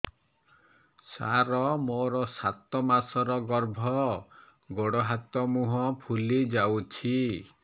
ସାର ମୋର ସାତ ମାସର ଗର୍ଭ ଗୋଡ଼ ହାତ ମୁହଁ ଫୁଲି ଯାଉଛି